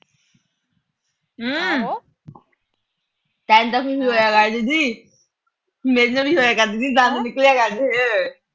ਤਾਂ ਕਰਦੀ ਸੀ। ਮੇਰੇ ਤੋਂ ਵੀ ਹੋਇਆ ਕਰਦੀ ਸੀ, ਦੰਦ ਨਿਕਲਿਆ ਕਰਦੇ ਸੀ।